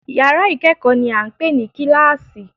Yàrá ìkẹ́kọ̀ọ́ ni à ń pè ní kíláàsì